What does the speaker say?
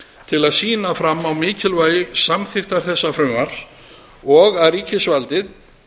til að sýna fram á mikilvægi samþykktar þessa frumvarps og að ríkisvaldið